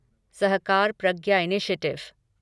Sahakar Pragya initiative